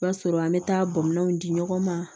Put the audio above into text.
O b'a sɔrɔ an bɛ taa bɔnmɔnw di ɲɔgɔn ma